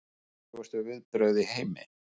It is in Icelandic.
Krúttlegustu viðbrögð í heimi